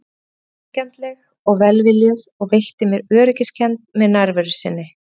Hún var vingjarnleg og velviljuð og veitti mér öryggiskennd með nærveru sinni.